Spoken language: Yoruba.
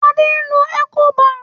Adé ń lo Ecobank.